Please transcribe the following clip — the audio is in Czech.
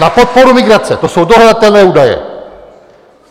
Na podporu migrace, to jsou dohledatelné údaje.